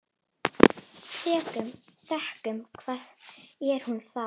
Þöggun, hvað er nú það?